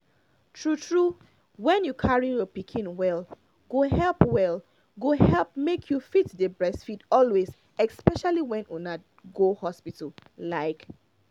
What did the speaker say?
true true when you carry your pikin well go help well go help make you fit dey breastfeed always especially when una go hospital like